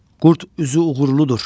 Qurd üzü uğurludur.